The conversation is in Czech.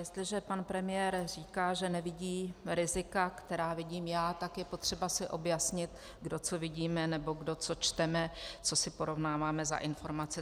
Jestliže pan premiér říká, že nevidí rizika, která vidím já, tak je potřeba si objasnit, kdo co vidíme nebo kdo co čteme, co si porovnáváme za informace.